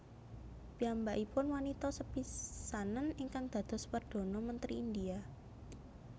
Piyambakipun wanita sepisanan ingkang dados perdhana mentri India